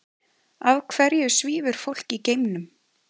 Af hverju svífur fólk í geimnum?